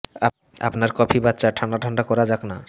আপনার কফি বা চা ঠান্ডা ঠান্ডা করা যাক না